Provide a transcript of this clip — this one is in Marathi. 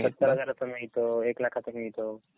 सत्तर हजाराचा मिळतो, एक लाखाचा मिळतो.